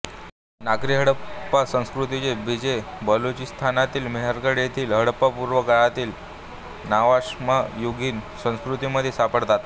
नागरी हडप्पा संस्कृतीची बीजे बलुचिस्तानातील मेहेरगढ येथील हडप्पापूर्व् काळातील नवाश्मयुगीन संस्कृतीमध्ये सापडतात